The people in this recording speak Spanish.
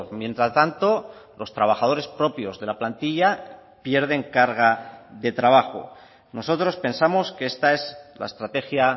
mientras tanto los trabajadores propios de la plantilla pierden carga de trabajo nosotros pensamos que esta es la estrategia